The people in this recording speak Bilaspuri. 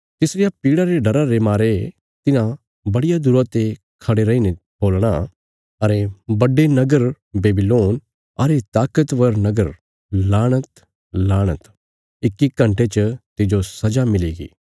तिसारिया पीड़ा रे डरा रे मारे तिन्हां बड़िया दूरा ते खड़े रैईने बोलणा अरे बड्डे नगर बेबीलोन अरे ताकतवर नगर लाणत लाणत इक्की घण्टे च तिज्जो सजा मिलीगी